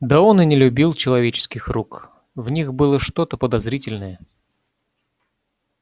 да он и не любил человеческих рук в них было что то подозрительное